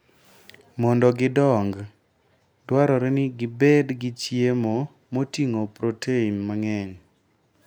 Mondo gidong, dwarore ni gibed gi chiemo moting'o protein mang'eny.